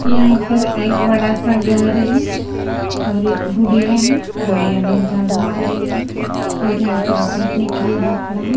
यहां पर एक बड़ा सा घर है और एक बुढ़िया है बुढ़िया ने जाड़ो मार रही है और यहां पर बैठने के लिए बाकड़ा है।